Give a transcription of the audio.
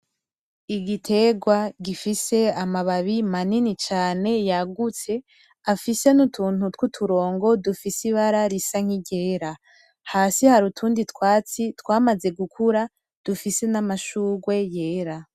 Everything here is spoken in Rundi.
Igiterwa gifise amababi manini cane yagutse afise nutuntu twuturongo dufise ibara risa niryera hasi hari utundi twatsi twamaze gukura , dufise namashurwe yera .